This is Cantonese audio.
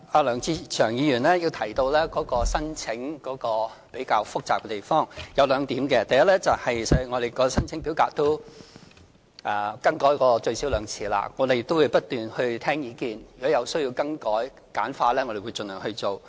梁志祥議員提到申請程序比較複雜，我想指出兩點：第一，我們的申請表格已更改最少兩次，我們會不斷聆聽意見，如果有需要更改或簡化，我們會盡量去做。